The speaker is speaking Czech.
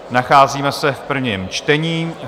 Nacházíme se v prvním čtení.